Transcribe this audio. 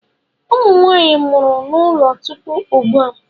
Ụmụ Nwaanyị mụrụ n'ụlọ tupu ugbu a.